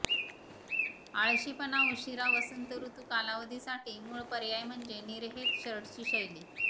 आळशीपणा उशीरा वसंत ऋतु कालावधीसाठी मूळ पर्याय म्हणजे निर्हेत शर्टची शैली